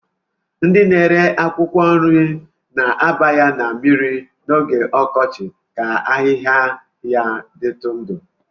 Ndị na-ere akwụkwọ nri na-aba ya na mmiri n'oge ọkọchị ka ahịhịa ya dịtụ ndụ